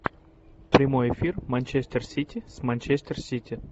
прямой эфир манчестер сити с манчестер сити